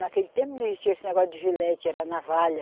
Naquele tempo não existia esse negócio de gilete, era navalha.